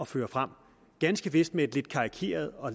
føre frem ganske vist med et lidt karikeret og